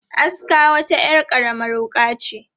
Aska wata 'yar karamar wuƙa ce.